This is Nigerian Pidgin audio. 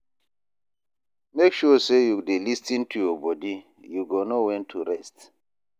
Make sure sey you dey lis ten to your bodi, you go know wen to rest.